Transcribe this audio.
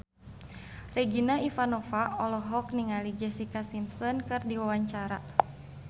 Regina Ivanova olohok ningali Jessica Simpson keur diwawancara